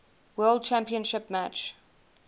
world championship match